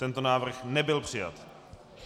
Tento návrh nebyl přijat.